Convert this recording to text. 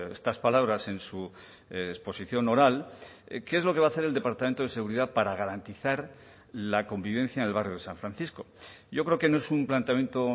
estas palabras en su exposición oral qué es lo que va a hacer el departamento de seguridad para garantizar la convivencia en el barrio de san francisco yo creo que no es un planteamiento